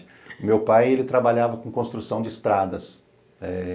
O meu pai, ele trabalhava com construção de estradas. Eh